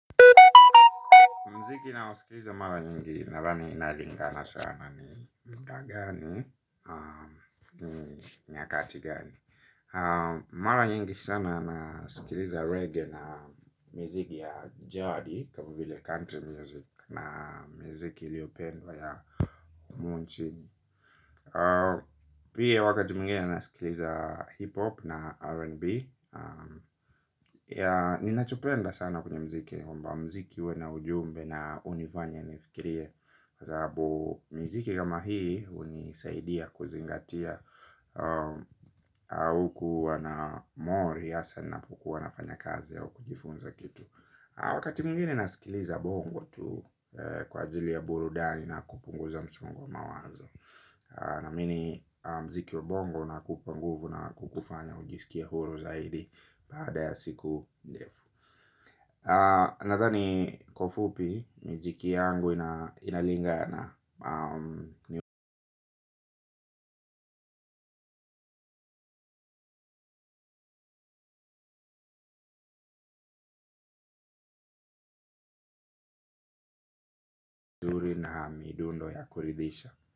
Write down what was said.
Mziki naosikiliza mara nyingi nadhani inalingana sana ni kagani. Ni nyakati gani. Mara nyingi sana nasikiliza reggae na mziki ya jadi. Kama vile country music na miziki iliyopendwa ya mchi. Pia wakati mwingine nasikiliza hip hop na R&B. Ninachopenda sana kwenye mziki kwamba mziki huwa ina ujumbe na hunifanya nifikirie. Kwa sababu miziki kama hii hunisaidia kuzingatia. Huku wana mori hasa ninapokuwa nafanya kazi au kujifunza kitu. Wakati mwingine nasikiliza bongo tu kwa ajili ya burudani na kupunguza msongo wa mawazo. Naamini mziki wa bongo unakupa nguvu na kukuufanya ujisikie huru zaidi baada ya siku ndefu. Nadhani kwa ufupi miziki yangu inalingana midundo ya kuridhisha.